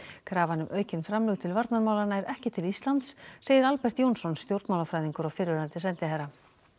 krafan um aukin framlög til varnarmála nær ekki til Íslands segir Albert Jónsson stjórnmálafræðingur og fyrrverandi sendiherra